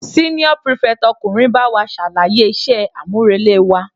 Senior prefect ọkùnrin bá wa ṣàlàyé iṣẹ́ àmúrelé wa.